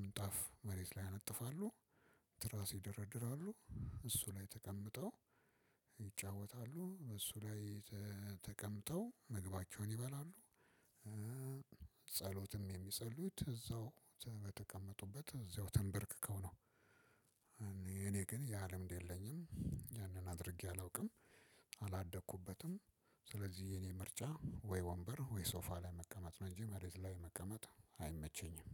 ምንጣፍ መሬት ላይ ያነጥፋሉ። ትራስ ይደረድራሉ እሱ ላይ ተቀምጠው ይጫወታሉ እሱ ላይ ተቀምጠው ምግባቸውን ይበላሉ። ጸሎትም የሚጸልዩት እዛው በተቀመጡበት እዛው ተንበርክከው ነው። እኔ ግን ያ ልምድ የለኝም ያንን አድርጌ አላውቅም አላደኩበትም። ስለዚህ የእኔ ምርጫ ወይ ወንበር ወይ ሶፋ ላይ መቀመጥ ነው እንጂ መሬት ላይ መቀመጥ አይመቸኝም።